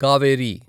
Kaveri